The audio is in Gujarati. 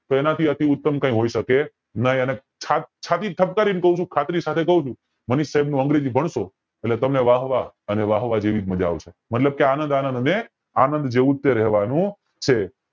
તો એના થી ઉત્તમ કય હોય શકે નય છત છાતી ઠપકારી ને ક્વ છું ખાતરી સાથે ક્વ છું માનીશ સાઇબ નું અંગ્રેજી ભણસો એટલે તમને વાહ વાહ અને વાહ વાહ એવી જ માજા આવશે મતલબ કે આનંદ આનંદ અને આનંદ જેવું જ તે રેવાનું છે